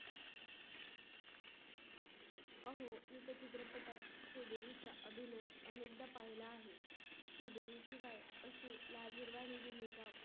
अभिनय अनेकदा पाहिला आहे. श्रीदेवी शिवाय असे लाजल वाणी भूमिका